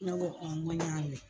Ne ko n ko y'a mɛn.